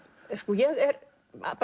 ég er